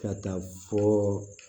Ka taa fɔ